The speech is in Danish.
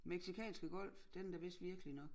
Mexicanske Golf den er da vist virkelig nok